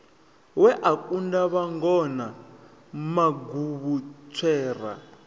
we a kunda vhangona maguvhutswera